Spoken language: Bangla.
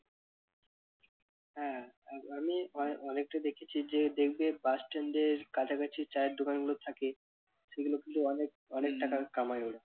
আ~ আমি প্রায় অনেকরে দেখেছি যে দেখবে bus stand এর কাছাকাছি চায়ের দোকান গুলো থাকে সেগুলো কিন্তু অনেক অনেক টাকা কমায় ওরা।